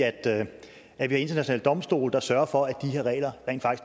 at internationale domstole der sørger for at de her regler rent